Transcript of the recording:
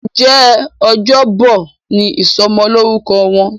Njé Ọjọ́ Bọ̀ ní ìsomo lórúko Wón?